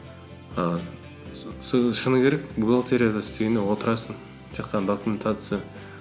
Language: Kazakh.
шыны керек бухгалтерияда істегенде отырасың тек қана документация